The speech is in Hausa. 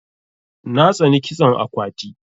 Na tsani kitson akwati.